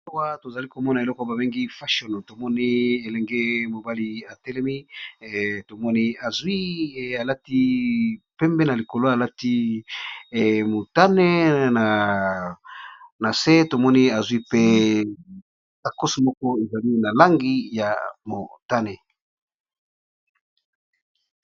Awa tozali komona eloko babengi fashion tomoni elenge mobali atelemi tomoni azwi alati pembe na likolo alati motane na se tomoni azwi pe abakosi moko ezali na langi ya motane.